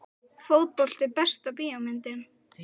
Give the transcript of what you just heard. Fótbolti Besta bíómyndin?